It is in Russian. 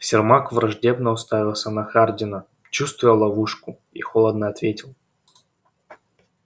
сермак враждебно уставился на хардина чувствуя ловушку и холодно ответил